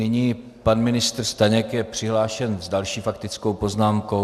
Nyní pan ministr Staněk je přihlášen s další faktickou poznámkou.